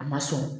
A ma sɔn